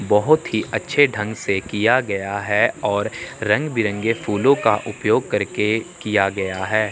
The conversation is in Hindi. बहोत ही अच्छे ढंग से किया गया है और रंग बिरंगे फूलों का उपयोग करके किया गया है।